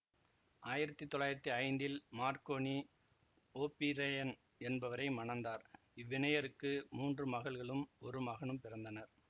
ஆயிரத்தி தொள்ளாயிரத்தி ஐந்தில் மார்க்கோனி ஓபிரெயின் என்பவரை மணந்தார் இவ்விணையருக்கு மூன்று மகள்களும் ஒரு மகனும் பிறந்தனர்